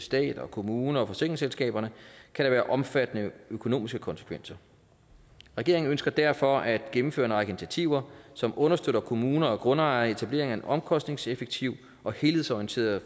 stat kommuner og forsikringsselskaber kan det have omfattende økonomiske konsekvenser regeringen ønsker derfor at gennemføre en række initiativer som understøtter kommuner og grundejere i etablering af en omkostningseffektiv og helhedsorienteret